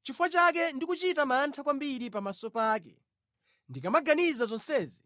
Nʼchifukwa chake ndikuchita mantha kwambiri pamaso pake; ndikamaganiza zonsezi